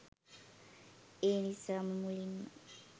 ඒනිසාම මුලින්ම